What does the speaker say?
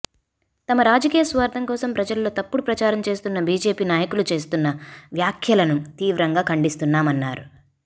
తమ రాజకీయ స్వార్థం కోసం ప్రజల్లో తప్పుడు ప్రచారం చేస్తున్న బీజేపీ నాయకులు చేస్తున్న వ్యాఖ్యలను తీవ్రంగా ఖండిస్తున్నామన్నారు